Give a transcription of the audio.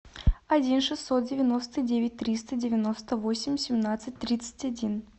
один шестьсот девяносто девять триста девяносто восемь семнадцать тридцать один